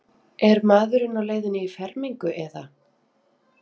Er maðurinn á leiðinni í fermingu eða?